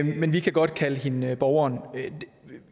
men vi kan godt kalde hende borgeren